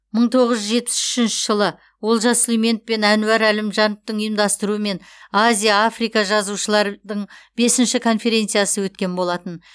мың тоғыз жүз жетпіс үшінші жылы олжас сүлейменов пен әнуар әлімжановтың ұйымдастыруымен азия африка жазушылардың бесінші конференциясы өткен болатын